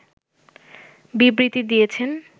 বিবৃতি দিয়েছেন